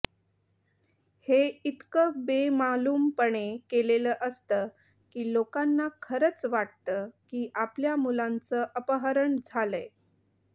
हे इतकं बेमालूमपणे केलेलं असतं की लोकांना खरंच वाटतं की आपल्या मुलाचं अपहरण झालंय